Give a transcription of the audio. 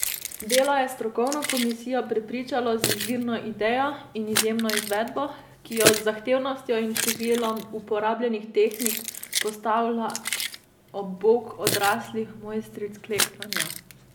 Delo je strokovno komisijo prepričalo z izvirno idejo in izjemno izvedbo, ki jo z zahtevnostjo in številom uporabljenih tehnik postavlja ob bok odraslih mojstric klekljanja.